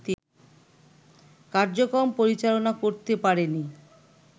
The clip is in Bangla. কার্যক্রম পরিচালনা করতে পারেনি